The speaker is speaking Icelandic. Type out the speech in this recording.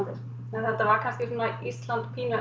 þetta var kannski svona Ísland pínu